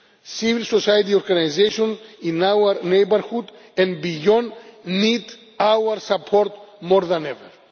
Civil society organisations in our neighbourhood and beyond need our support more than ever.